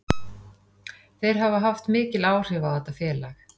Þeir hafa haft mikil áhrif á þetta félag.